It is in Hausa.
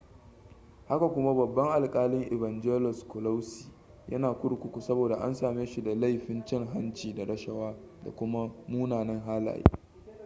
haka kuma babban alkalin evangelos kalousis yana kurkuku saboda an same shi da laifin cin hanci da rashawa da kuma munanan halaye